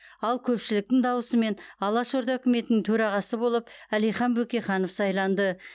ал көпшіліктің дауысымен алаш орда үкіметінің төрағасы болып әлихан бөкейханов сайланды